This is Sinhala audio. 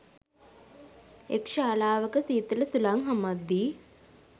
එක් ශාලාවක සීතල සුළං හමද්දී